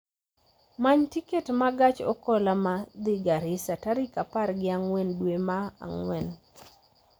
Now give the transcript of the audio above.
many tiket ma gach okoloma dhi garissa tarik apar gi ang'wen dwe ma ang'wen